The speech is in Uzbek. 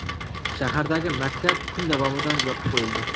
Shahardagi maktab kun davomida yopib qo‘yildi.